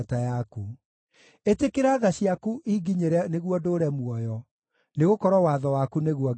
Ĩtĩkĩra tha ciaku inginyĩre nĩguo ndũũre muoyo, nĩgũkorwo watho waku nĩguo ngenagĩra.